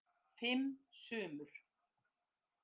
Fimm sumur